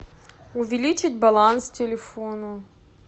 увеличить баланс телефону